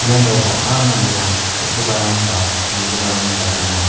iano bang·a manderang kal·giparang ba nigiparangba gnang.